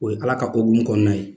O ye ala ka ko gun kɔnɔna ye.